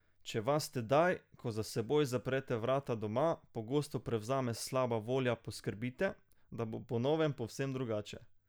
Če vas tedaj, ko za seboj zaprete vrata doma, pogosto prevzame slaba volja poskrbite, da bo po novem povsem drugače.